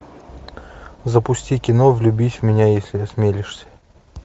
запусти кино влюбись в меня если осмелишься